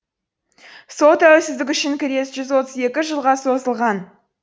сол тәуелсіздік үшін күрес жүз отыз екі жылға созылған